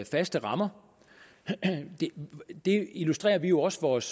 faste rammer det illustrerer vi jo også vores